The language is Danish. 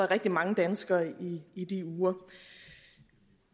rigtig mange danskere i i de uger